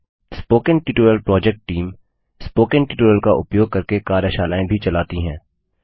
spoken tutorial project team spoken tutorial का उपयोग करके कार्यशालाएँ भी चलाती है